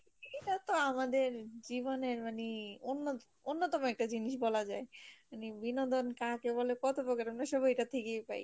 এটাতো আমাদের জীবনের মানি, অন্য অন্যতম একটা জিনিস বলা যায় মানে বিনোদন কাকে বলে কত প্রকার আমরা সবাই এটা থেকেই পাই